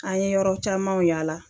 An ye yɔrɔ camanw yala